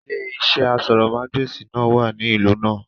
Ilé iṣẹ́ asọ̀rọ̀mágbèsì náà wà ní ìlú náà